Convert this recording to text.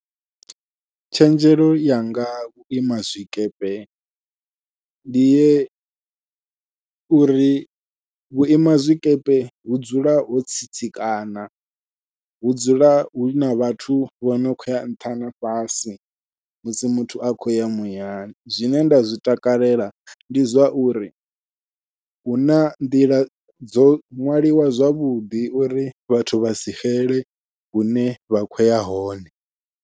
Tshenzhelo yanga nga vhuima zwikepe ndi ye uri vhuima zwikepe hu dzula ho tsitsikana hu dzula huna vhathu vhono khou ya nṱha na fhasi musi muthu a khou ya muyani zwine nda zwi takalela ndi zwauri huna nḓila dzo ṅwaliwa zwavhuḓi uri vhathu vha si xele hune vha khoya hone.